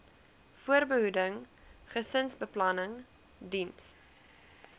voorbehoeding gesinsbeplanning diens